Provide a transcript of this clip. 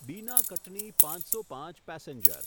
બીના કટની પાંચસો પાંચ પેસેન્જર